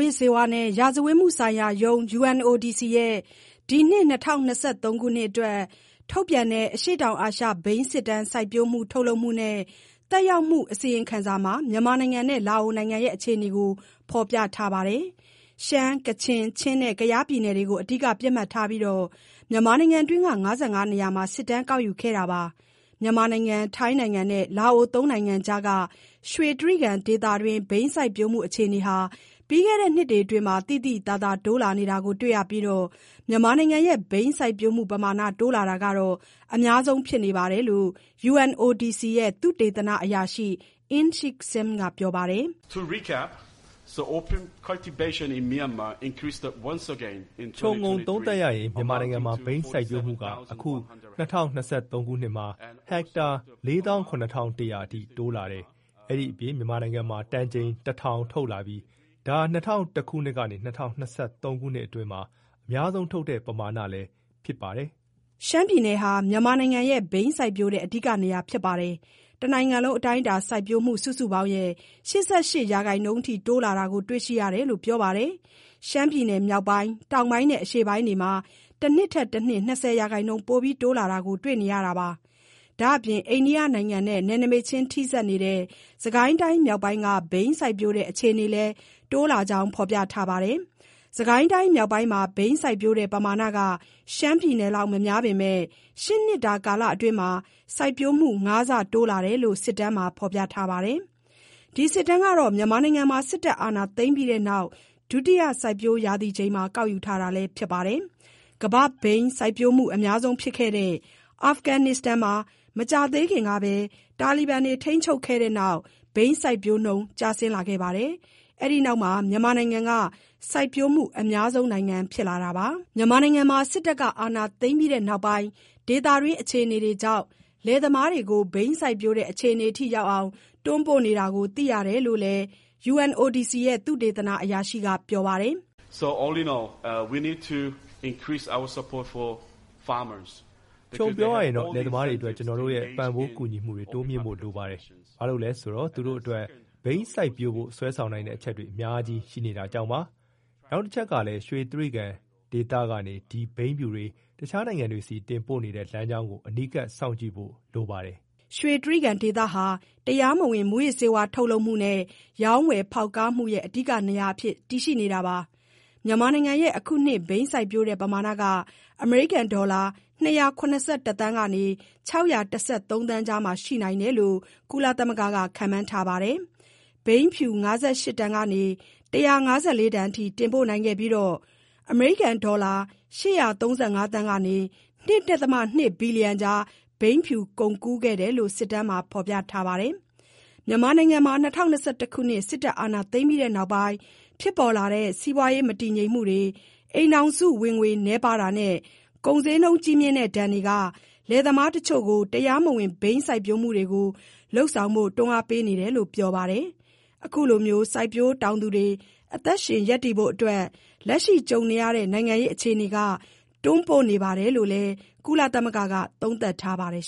ေးဝါးနဲ့ ရာဇဝတ်မှုဆိုင်ရာရုံး (UNODC) ရဲ့ အခုနှစ် ၂၀၂၃ ခုနှစ်အတွက် ထုတ်ပြန်တဲ့ အရှေ့တောင်အာရှ ဘိန်းစစ်တမ်း - စိုက်ပျိုးမှု၊ ထုတ်လုပ်မှုနဲ့ သက်ရောက်မှု အစီအရင်ခံစာမှာ မြန်မာနဲ့ လာအိုနိုင်ငံရဲ့ အခြေအနေတွေကို ဖော်ပြထားပါတယ်။ ရှမ်း၊ ကချင်၊ ချင်းနဲ့ ကယားပြည်နယ်တို့ကို အဓိကပစ်မှတ်ထားပြီး မြန်မာနိုင်ငံတွင်းက ၅၅ နေရာမှာ စစ်တမ်းကောက်ယူခဲ့တာပါ။ မြန်မာ- ထိုင်း- လာအို ၃ နိုင်ငံကြားက ရွှေတြိဂံဒေသတွင်း ဘိန်းစိုက်ပျိုးမှု အခြေအနေဟာ ပြီးခဲ့တဲ့နှစ်တွေ အတွင်းမှာ သိသိသာသာ တိုးလာ နေတာ တွေ့ရပြီး မြန်မာနိုင်ငံရဲ့ ဘိန်းစိုက်ပျိုးမှုပမာဏ တိုးလာတာက အများဆုံး ဖြစ်နေတယ်လို့ UNODC ရဲ့ သုတေသနအရာရှိ Inshik Sim က ပြောပါတယ်။ "ခြုံငုံသုံးသပ်ရရင် မြန်မာနိုင်ငံမှာ ဘိန်းစိုက်ပျိုးမှုက အခု ၂၀၂၃ ခုနှစ်မှာ ဟက်တာ ၄၇,၁၀၀ အထိ တိုးလာ တယ်။ အဲဒါအပြင် မြန်မာနိုင်ငံမှာ တန်ချိန် ၁,၀၀၀ ထုတ်လာပြီး ဒါဟာ ၂၀၀၁ ခုနှစ်ကနေ ၂၀၂၃ ခုနှစ်အတွင်းမှာ အများဆုံး ထုတ်လုပ်တဲ့ ပမာဏလည်း ဖြစ်ခဲ့တယ်။" ရှမ်းပြည်နယ်ဟာ မြန်မာနိုင်ငံရဲ့ ဘိန်းစိုက်ပျိုးတဲ့ အဓိကနေရာဖြစ်နေပြီး၊ တနိုင်ငံလုံးအတိုင်းအတာ စိုက်ပျိုးမှု စုစုပေါင်းရဲ့ ၈၈ ရာခိုင်နှုန်းအထိ တိုးလာတယ်လို့ တွေ့ရှိခဲ့တယ် လို့ ပြောပါတယ်။ ရှမ်းပြည်နယ်မြောက်ပိုင်း၊ တောင်ပိုင်းနဲ့ အရှေ့ပိုင်းတို့မှာ တနှစ်ထက်တနှစ် ၂၀ ရာခိုင်နှုန်း ပိုပြီး တိုးလာနေတာကို တွေ့ရတာပါ။ ဒါ့အပြင် အိန္ဒိယနဲ့ နယ်နိမိတ်ချင်း ထိစပ်နေတဲ့ စစ်ကိုင်းတိုင်းမြောက်ပိုင်းက ဘိန်းစိုက်ပျိုးတဲ့ အခြေအနေလည်း တိုးလာကြောင်း ဖေါ်ပြ ထားပါတယ်။ စစ်ကိုင်းတိုင်း မြောက်ပိုင်းမှာ ဘိန်းစိုက်ပျိုးတဲ့ ပမာဏက ရှမ်းပြည်နယ်လောက် မများပေမယ့် ၈ နှစ်တာ ကာလအတွင်းမှာ စိုက်ပျိုးမှု ၅ ဆတိုးလာတယ်လို့ စစ်တမ်းမှာ ဖော်ပြထားပါတယ်။ ဒီစစ်တမ်းက မြန်မာနိုင်ငံမှာ စစ်တပ်အာဏာသိမ်းပြီးနောက် ဒုတိယစိုက်ပျိုးရာသီချိန်မှာ ကောက်ယူထားတာလည်း ဖြစ်ပါတယ်။ ကမ္ဘာ့ဘိန်းစိုက်ပျိုးမှု အများဆုံးဖြစ်ခဲ့တဲ့ အာဖဂန်နစ္စတန်မှာ မကြာသေးခင်ကပဲ တာလီဘန်တွေ ထိန်းချုပ်ခဲ့တဲ့နောက် ဘိန်းစိုက်ပျိုးနှုန်း ကျဆင်းလာပြီး၊ မြန်မာနိုင်ငံက စိုက်ပျိုးမှု အများဆုံးနိုင်ငံ ဖြစ်လာတာပါ။ မြန်မာနိုင်ငံမှာ အာဏာသိမ်းပြီးနောက်ပိုင်း ဒေသတွင်း အခြေအနေကြောင့် လယ်သမားတွေကို ဘိန်းစိုက်ပျိုးတဲ့ အခြေအနေထိရောက်အောင် တွန်းပို့နေတာကို သိရတယ်လို့လည်း Inshik Sim က ပြောပါတယ်။ "ခြုံပြောရရင်တော့ လယ်သမားတွေအတွက် ကျွန်တော်တို့ရဲ့ ပံ့ပိုးကူညီမှုတွေ တိုးမြင့်ဖို့ လိုပါတယ်။ ဘာလို့လဲ ဆိုတော့ သူတို့အတွက် ဘိန်းစိုက်ပျိုးဖို့ ဆွဲဆောင်နိုင်တဲ့ အချက်တွေ အများကြီးရှိနေတာကြောင့်ပါ။ နောက်တချက်ကလည်း ရွှေတြိဂံဒေသကနေ ဒီဘိန်းဖြူ တွေ တခြားနိုင်ငံတွေဆီ တင်ပို့နေတဲ့ လမ်းကြောင်းကို အနီးကပ်စောင့်ကြည့်ဖို့ လိုပါတယ် " ရွှေတြိဂံဒေသဟာ တရားမဝင် မူးယစ်ဆေးဝါး ထုတ်လုပ်မှုနဲ့ ရောင်းဝယ်ဖောက်ကားမှုရဲ့ အဓိကနေရာအဖြစ် ရှိနေတာပါ။ မြန်မာနိုင်ငံရဲ့ အခုနှစ် ဘိန်းစိုက်ပျိုးတဲ့ ပမာဏက အမေရိကန်ဒေါ်လာ ၂၇၁ သန်းကနေ ၆၁၃ သန်းကြားမှာ ရှိနိုင်တယ်လို့ ကုလက ခန့်မှန်းထားပါတယ်။ ဘိန်းဖြူ ၅၈ တန်ကနေ ၁၅၄ တန်အထိ တင်ပို့နိုင်ခဲ့ပြီး၊ ငွေကြေး အမေရိကန်ဒေါ်လာ ၈၃၅ သန်းကနေ ၂.၂ ဘီလီယံကြား ဘိန်းဖြူကုန်ကူးခဲ့တယ်လို့ စစ်တမ်းမှာ ဖော်ပြထားပါတယ်။ မြန်မာနိုင်ငံမှာ ၂၀၂၁ ခုနှစ် အာဏာသိမ်းပြီးနောက်ပိုင်း ဖြစ်ပေါ်လာတဲ့ စီးပွားရေး မတည်ငြိမ်မှုတွေ၊ အိမ်ထောင်စုဝင်ငွေ နည်းပါးတာနဲ့ ကုန်ဈေးနှုန်း ကြီးမြင့်တဲ့ဒဏ်တွေက လယ်သမားတချို့ကို တရားမဝင် ဘိန်းစိုက်ပျိုးမှုတွေ လုပ်ဆောင်ဖို့ တွန်းအားပေးနေတယ်လို့ ပြောပါတယ်။ အခုလို စိုက်ပျိုးတောင်သူတွေ အသက်ရှင် ရပ်တည်ဖို့အတွက် လက်ရှိကြုံနေရတဲ့ နိုင်ငံရေးအခြေနေက တွန်းပို့နေတယ်လို့လည်း ကုလသမဂ္ဂက သုံးသပ်ထားပါတယ်